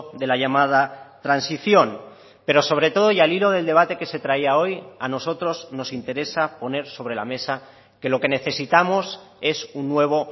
de la llamada transición pero sobre todo y al hilo del debate que se traía hoy a nosotros nos interesa poner sobre la mesa que lo que necesitamos es un nuevo